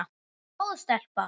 Góð stelpa.